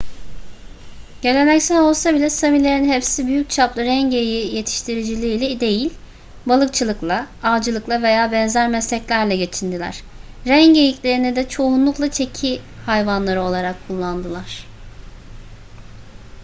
geleneksel olsa bile samilerin hepsi büyük çaplı ren geyiği yetiştiriciliğiyle değil balıkçılıkla avcılıkla veya benzer mesleklerle geçindiler ren geyiklerini de çoğunlukla çeki hayvanları olarak kullandılar